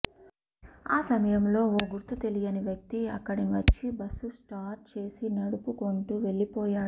ఆ సమయంలో ఓ గుర్తు తెలియని వ్యక్తి అక్కడి వచ్చి బస్ను స్టార్ట్ చేసి నడుపుకొంటూ వెళ్లిపోయాడు